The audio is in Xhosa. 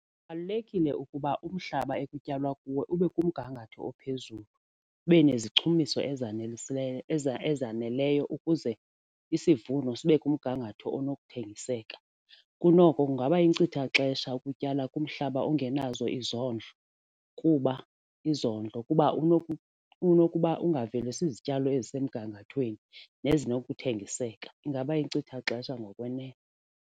Kubalulekile ukuba umhlaba ekutyalwa kuwo ube kumgangatho ophezulu, ube nezichumiso ezaneleyo ukuze isivuno sibe kumgangatho onokuthengiseka. Kunoko kungaba yinkcitha xesha ukutyala kumhlaba ongenazo izondlo kuba izondlo kuba unokuba ungavelisi zityalo ezisemgangathweni nezinokuthengiseka. Ingaba yinkcitha xesha ngokwenene.